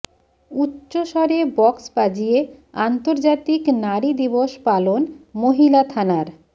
উচ্চস্বরে বক্স বাজিয়ে আন্তর্জাতিক নারী দিবস পালন মহিলা থানার